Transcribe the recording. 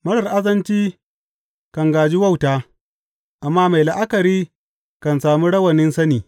Marar azanci kan gāji wauta, amma mai la’akari kan sami rawanin sani.